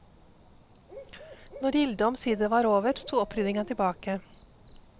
Når gildet omsider var over, sto oppryddinga tilbake.